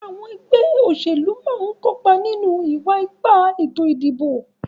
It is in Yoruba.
Àwon olórí ẹgbẹ́ òṣèlú náà ń kópa nínú ìwa-ipá ètò ìdìbò.